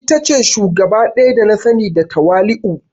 Ita ce shugaba daya da na sani da tawali'u.